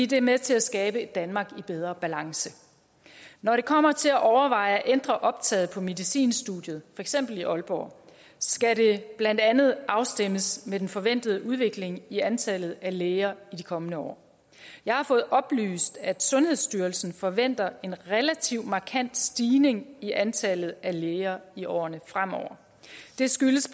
det er med til at skabe et danmark i bedre balance når det kommer til at overveje at ændre optaget på medicinstudiet eksempel i aalborg skal det blandt andet afstemmes med den forventede udvikling i antallet af læger i de kommende år jeg har fået oplyst at sundhedsstyrelsen forventer en relativt markant stigning i antallet af læger i årene fremover det skyldes